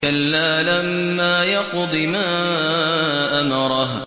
كَلَّا لَمَّا يَقْضِ مَا أَمَرَهُ